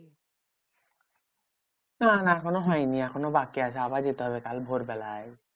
না না এখনো হয়নি এখনও বাকি আছে আবার যাতে হবে কাল ভোরবেলায়।